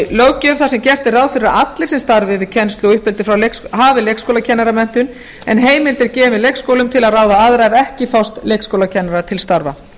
löggjöf þar sem gert er ráð fyrir að allir sem starfi við kennslu og uppeldi hafi leikskólakennaramenntun en heimild er gefin leikskólum til að ráða aðra ef ekki fást leikskólakennarar til starfa